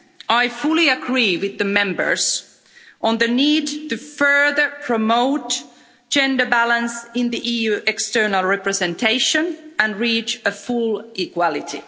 I fully agree with the Members on the need to further promote gender balance in the EU's external representation and reach full equality.